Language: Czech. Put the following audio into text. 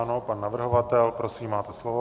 Ano, pan navrhovatel, prosím, máte slovo.